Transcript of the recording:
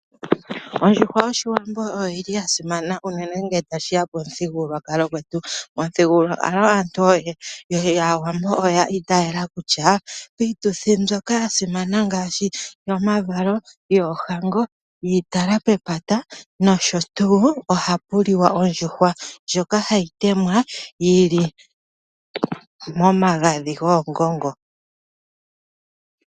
Ondjuhwa yOshiwambo oyi li ya simana unene ngele tashi ya pomuthigululwakalo gwetu. Momuthigululwakalo, aantu yAawambo oya itaala kutya piituthi mbyoka ya simana ngaashi yomavalo, yoohango, yomatalo gomalugo, nosho tuu, ohapu liwa ondjuhwa ndjoka hayi temwa yi li momagadhi goongongo.